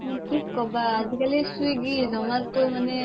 মানে কি ক'বা আজিকালি স্ৱিগ্গ্য জোমতো মানে